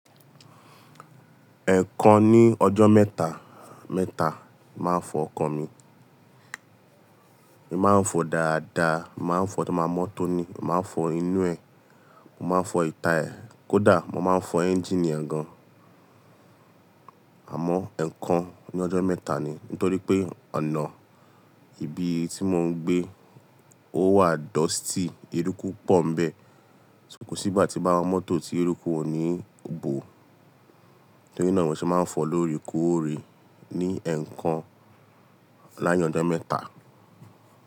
Ẹ̀ẹ̀kan ní ọjọ́ mẹ́ta, mẹ́ta màá fọ ọkọ̀ mi. N Màá fọ dáadáa, n màá fọ tí màá mọ́tò ni, mo màá n fọ inú ẹ̀, mo màá fọ ìta ẹ̀, kódà mo màá n fọ ẹ́ńjíìnì gan. Àmọ́ ẹ̀ẹ̀kan ní ọjọ́ mẹ́ta ni nítorí pé ọ̀nà ibi tí mò ń gbé ó wà dusty, eruku pọ̀ ń bẹ̀. Ko sí igbà tí bàá wa mọ́tò tí eruku ò ní òbò. Torí náà mo ṣe màá ń fọ lóòrèkòórè ní ẹ̀ẹ̀kan lárin ọjọ́ mẹ́ta.